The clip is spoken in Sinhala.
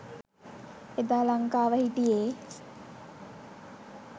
එදා ලංකාව හිටියේ